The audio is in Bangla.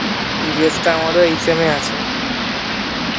EVNS টা আমারও এই sem এ আছে